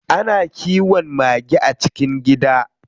Ana kiwon mage a cikin gida.